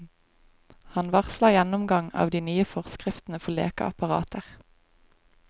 Han varsler gjennomgang av de nye forskriftene for lekeapparater.